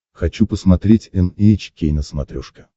хочу посмотреть эн эйч кей на смотрешке